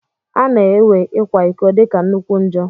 Ana ewe ikwa ịkọ dika nnukwu njọ.